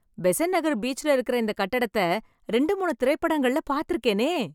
பெசன்ட் நகர் பீச்ல இருக்கற இந்த கட்டடத்தை, ரெண்டு மூணு திரைப்படங்கள்ள பாத்துருக்கேனே..